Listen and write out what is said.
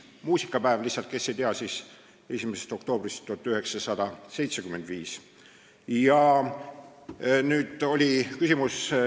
Muusikapäeva, kui keegi ei tea, peetakse alates 1. oktoobrist 1975.